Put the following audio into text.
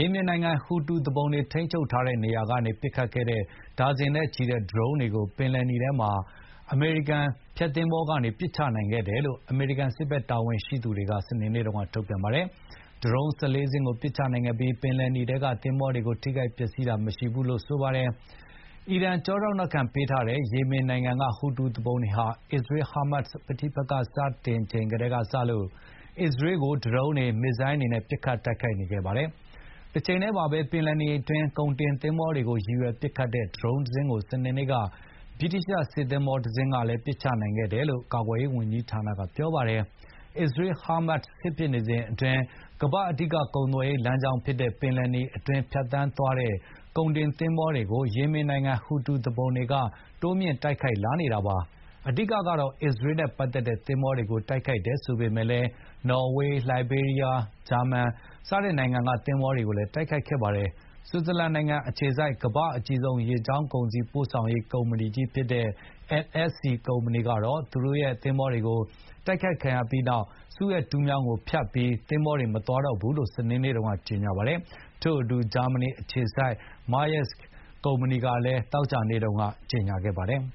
ေမင်နိုင်ငံ ဟူသီ Houthi သူပုန်တွေ ထိန်းချုပ်ထားတဲ့ နေရာထဲကနေ ပစ်ခတ်ခဲ့တဲ့ ဒါဇင်နဲ့ချီတဲ့ ဒရုန်းတွေကို ပင်လယ်နီထဲမှာရှိတဲ့ အမေရိကန် ဖျက်သင်္ဘောကနေ ပစ်ချနိုင်ခဲ့တယ်လို့ အမေရိကန် စစ်ဘက် တာဝန်ရှိသူတွေကစနေနေ့တုန်းက ထုတ်ပြန်ပါတယ်။ ဒရုန်း ၁၄ စင်းကို ပစ်ချနိုင်ခဲ့ပြီး ပင်လယ်နီထဲက သင်္ဘောတွေ ထိခိုက်ပျက်စီးတာတော့ မရှိဘူးလို့ဆိုပါတယ်။ အီရန် ကြောထောက်နောက်ခံ ပေးထားတဲ့ ယေမင်နိုင်ငံက ဟူသီသူပုန်တွေဟာ အစ္စရေး−ဟားမတ်ပဋိပက္ခ စတင်ချိန်ကတည်းက အစ္စရေးကို ဒရုန်းတွေ မစ်ဇိုင်းတွေနဲ့ ပစ်ခတ်နေခဲ့တာပါ။ တချိန်တည်းမှာပဲ ပင်လယ်နီအတွင်း ကုန်တင်သင်္ဘောတွေကို ရည်ရွယ် ပစ်ခတ်တဲ့ ဒရုန်တစင်းကို စနေနေ့က ဗြိတိသျှ စစ်သင်္ဘောတစင်းကလည်း ပစ်ချနိုင်ခဲ့တယ်လို့ ကာကွယ်ရေးဌာနက ပြောပါတယ်။ အစ္စရေး−ဟားမတ် စစ်ဖြစ်နေစဉ်အတွင်း ကမ္ဘာ့အဓိက ကုန်သွယ်ရေး လမ်းကြောင်းဖြစ်တဲ့ ပင်လယ်နီအတွင်း ဖြတ်သန်းသွားတဲ့ ကုန်တင်သင်္ဘောတွေကို ယေမင်နိုင်ငံ ဟူသီသူပုန်တွေက တိုးမြှင့် တိုက်ခိုက်လာနေပါတယ်။ အဓိက ကတော့ အစ္စရေးနဲ့ပတ်သက်တဲ့ သင်္ဘောတွေကို တိုက်ခိုက်တယ် ဆိုပေမယ့်လည်း နော်ဝေး၊ လိုက်ဘေးရီးယား၊ ဂျာမန် သင်္ဘောတွေကိုလည်း တိုက်ခိုက်ခဲ့ပါတယ်။ ဆွစ်ဇာလန်နိုင်ငံအခြေစိုက် ကမ္ဘာ့အကြီးဆုံး ရေကြောင်းကုန်စည်ပို့ဆောင်ရေး ကုမ္ပဏီကြီးဖြစ်တဲ့ MSC ကုမ္ပဏီကတော့ သူ့ရဲ့ သင်္ဘောတစင်း တိုက်ခိုက်ခံရပြီးနောက် စူးအက်တူးမြောင်းကို ဖြတ်ပြီး သင်္ဘောတွေ မသွားတော့ဘူးလို့ စနေနေ့က ကြေငြာပါတယ်။ ထို့အတူ ဂျာမဏီအခြေစိုက် Maersk ကုမ္ပဏီကလည်း သောကြာနေ့တုန်းကကြေငြာခဲ့ပါတယ်